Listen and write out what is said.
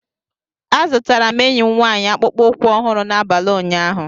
Azụtara m enyi m nwaanyị akpụkpọ ụkwụ ọhụrụ n'abalị ụnyaahụ